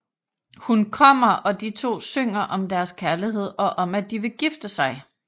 Hun kommer og de to synger om deres kærlighed og om at de vil gifte sig